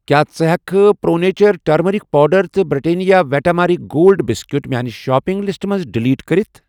کیٛاہ ژٕ ہٮ۪کہٕ پرٛو نیچر ٹٔرمٔٔرِک پوڈر تہٕ Britannia Vita Marie Gold biscuit میاٛنہِ شاپِنٛگ لِسٹہٕ منٛزٕ ڈلیٹ کٔرِتھ ؟